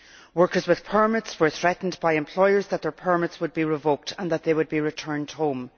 Workers with permits were threatened by employers that their permits would be revoked and that they would be returned home.